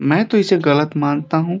मैं तो इसे गलत मांगता हूं।